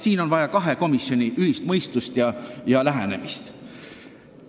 Siin on vaja kahe komisjoni ühist mõistust ja lähenemist.